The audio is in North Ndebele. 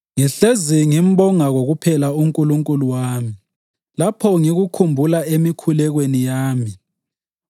Ngihlezi ngimbonga kokuphela uNkulunkulu wami lapho ngikukhumbula emikhulekweni yami